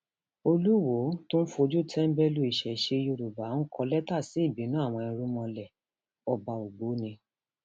olùwòo tó ń fojú tẹńbẹlú ìṣesẹ yorùbá ń kọ lẹtà sí ìbínú àwọn irúnmọlẹọba ògbóni